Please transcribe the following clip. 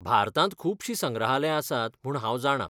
भारतांत खूबशीं संग्रहालयां आसात म्हूण हांव जाणां .